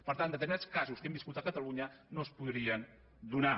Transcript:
per tant determinats casos que hem viscut a catalunya no es podrien donar